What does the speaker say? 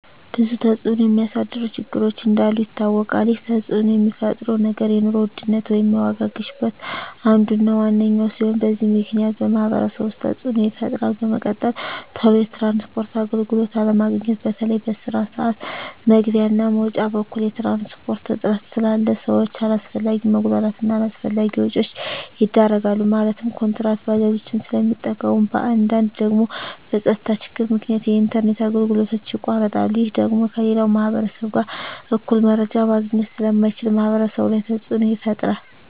ብዙ ተፅዕኖ የሚያሳድሩ ችግሮች እንዳሉ ይታወቃል ይህ ተፅዕኖ የሚፈጥረው ነገር የኑሮ ውድነት ወይም የዋጋ ግሽበት አንዱ እና ዋነኛው ሲሆን በዚህ ምክንያት በማህበረሰቡ ውስጥ ተፅዕኖ ይፈጥራል በመቀጠል ቶሎ የትራንስፖርት አገልግሎት አለማግኘት በተለይ በስራ ስዓት መግቢያ እና መውጫ በኩል የትራንስፖርት እጥረት ስላለ ሰዎች አላስፈላጊ መጉላላት እና አላስፈላጊ ወጪዎች ይዳረጋሉ ማለትም ኩንትራት ባጃጆችን ስለሚጠቀሙ በአንዳንድ ደግሞ በፀጥታ ችግር ምክንያት የኢንተርኔት አገልግሎቶች ይቋረጣሉ ይህ ደግሞ ከሌላው ማህበረሰብ ጋር እኩል መረጃ ማግኘት ስለማይቻል ማህበረሰቡ ላይ ተፅዕኖ ይፈጥራል